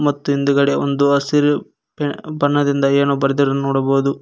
ಮತ್ತೆ ಹಿಂದುಗಡೆ ಹಸಿರು ಬಣ್ಣದಿಂದ ಏನೋ ಬರ್ದಿರುವುದನ್ನು ನೋಡಬಹುದು.